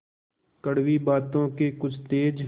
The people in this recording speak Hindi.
कड़वी बातों के कुछ तेज